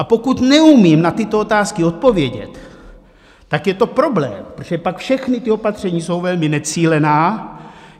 A pokud neumím na tyto otázky odpovědět, tak je to problém, protože pak všechna ta opatření jsou velmi necílená.